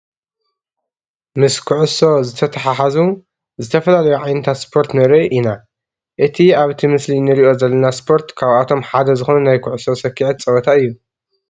ምስ ኩዕሶ ዝተተሓሓዙ ዝተፈላለዩ ዓይነታት ሰፖርት ንርኢ ኢና፡፡ እቲ ኣብቲ ምስሊ ንሪኦ ዘለና ስፖርት ካብኣቶም ሓደ ዝኾነ ናይ ኩዕሶ ሰክዔት ፀወታ እዩ፡፡